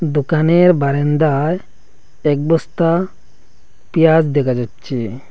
দোকানের বারান্দায় এক বস্তা পিঁয়াজ দেখা যাচ্ছে।